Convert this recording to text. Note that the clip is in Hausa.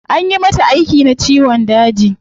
Anyi mata aiki na ciwon daji